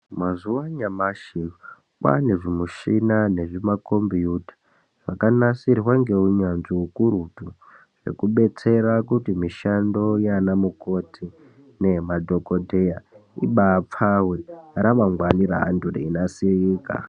Mazuwa anyamashi kwaane zvimushina nemakombiyuta zvanakasirwa neunyanzvi hukurutu zvekubetsera kuti mishando yana mukoti nemadhokoteya ibaapfawe ramangwani reinasirika.